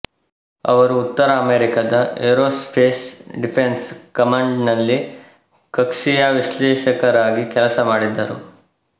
ಅವರು ಉತ್ತರ ಅಮೇರಿಕಾದ ಏರೋಸ್ಪೇಸ್ ಡಿಫೆನ್ಸ್ ಕಮಾಂಡ್ನಲ್ಲಿ ಕಕ್ಷೀಯ ವಿಶ್ಲೇಷಕರಾಗಿ ಕೆಲಸ ಮಾಡಿದರು